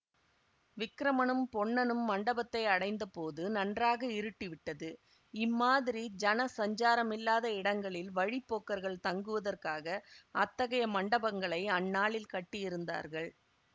விக்கிரமனும் பொன்னனும் மண்டபத்தை அடைந்தபோது நன்றாக இருட்டிவிட்டது இம்மாதிரி ஜன சஞ்சாரமில்லாத இடங்களில் வழி போக்கர்கள் தங்குவதற்காக அத்தகைய மண்டபங்களை அந்நாளில் கட்டியிருந்தார்கள்